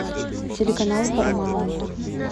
телеканал парамаунт